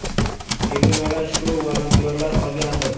“Tegilmagan shu volontyorlar qolgandi.